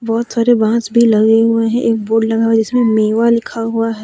बहुत सारे बास भी लगे हुए हैं एक बोर्ड जिसमें मेवा लिखा हुआ है।